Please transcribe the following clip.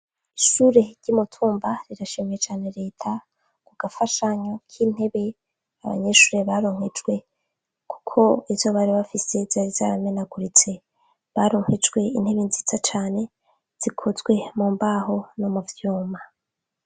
Ishure ry'umutumba rirashimiye cane reta kugafashanyo k'intebe abanyeshure baronkejwe kuko izo bari bafise zari zaramenaguritse. Baronkejwe intebe nziza cane zikozwe mumbaho no muvyuma.